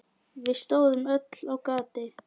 Við stóðum öll á gati.